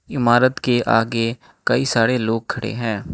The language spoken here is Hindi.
इमारत के आगे कई सारे लोग खड़े हैं।